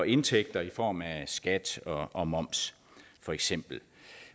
indtægter i form af skat og moms for eksempel